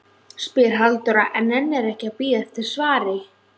spyr Halldóra en nennir ekki að bíða eftir svari.